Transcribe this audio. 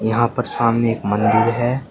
यहां पर सामने एक मंदिर है।